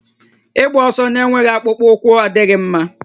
Ịgba ọsọ na-enweghị akpụkpọ ụkwụ adịghị mma